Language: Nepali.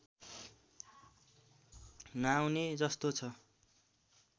नआउने जस्तो छ